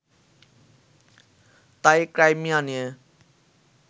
তাই, ক্রাইমিয়া নিয়ে